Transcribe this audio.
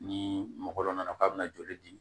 Ni mɔgɔ dɔ nana k'a bɛna joli di